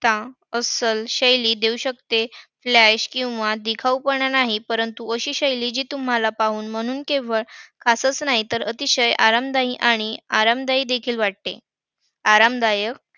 मालमत्ता अस्सल शैली देऊ शकते, flash किंवा दिखाऊपणा नाही. परंतु अशी शैली जी तुम्हाला पाहून म्हणून केवळ खातच नाही तर अतिशय आरामदायी आणि आरामदायी देखील वाटते. आरामदायक